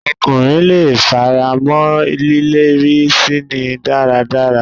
Ọkùnrin leè f'ara mọ́ lílérí síni dáradára.